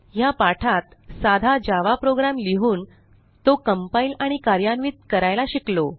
ह्या पाठात साधा जावा प्रोग्राम लिहून तो कंपाइल आणि कार्यान्वित करायला शिकलो